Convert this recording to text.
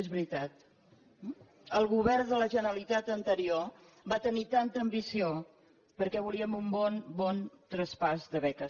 és veritat el govern de la generalitat anterior va tenir tanta ambició perquè volíem un bon bon traspàs de beques